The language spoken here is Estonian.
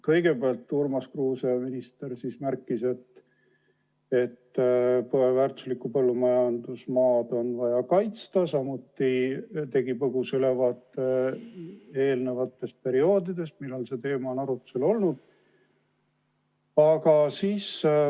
Kõigepealt, minister Urmas Kruuse märkis, et väärtuslikku põllumajandusmaad on vaja kaitsta, ja andis põgusa ülevaade eelnenud perioodidest, millal see teema on arutusel olnud.